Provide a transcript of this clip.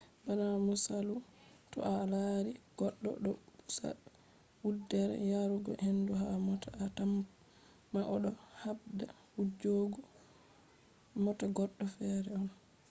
bana misalu to a lari goddo do pusa wuddere yarugo hendu ha mota a tamma o do habda wujjugo mota goddo fere on